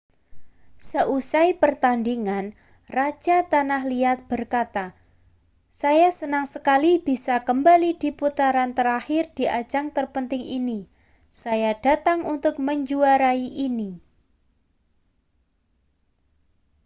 seusai pertandingan raja tanah liat berkata saya senang sekali bisa kembali di putaran terakhir di ajang terpenting ini saya datang untuk menjuarai ini